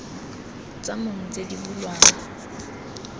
tsa mong tse di bulwang